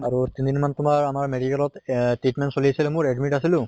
আৰু তিনিদিন মান তোমাৰ আমাৰ medical ত এহ treatment চলি আছিলে মোৰ admit আছিলোঁ